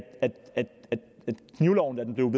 knivloven da den